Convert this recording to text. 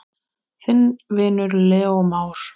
Þinn vinur, Leó Már.